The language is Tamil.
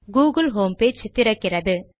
கூகிள் ஹோம் பேஜ் திறக்கிறது